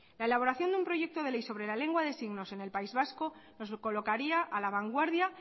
la elaboración de un proyecto de ley sobre la lengua de signos en el país vasco nos colocaría a la vanguardia